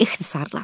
İxtisarala.